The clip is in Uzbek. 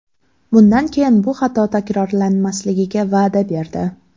Bundan keyin bu xato takrorlanmasligiga va’da berdi.